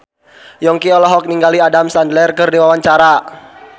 Yongki olohok ningali Adam Sandler keur diwawancara